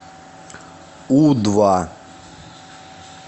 у два